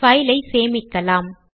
file ஐ சேமிக்கலாம்